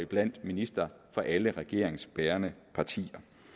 blandt ministre fra alle regeringsbærende partier